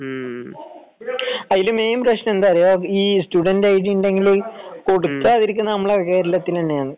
അതിന്റെ മെയിൻ പ്രശ്നം എന്താണെന്ന് അറിയോ ഈ സ്റ്റുഡന്റ് ഐഡി ഉണ്ടെങ്കിൽ കൊടുത്താൽ നമ്മളെ കേരളത്തിൽ തന്നെയാണ്